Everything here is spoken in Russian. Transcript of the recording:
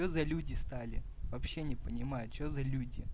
за люди стали вообще не понимаю что за люди